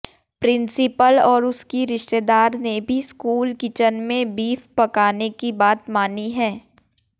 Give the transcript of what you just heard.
principal और उसकी रिश्तेदार ने भी स्कूल किचन में बीफ पकाने की बात मानी है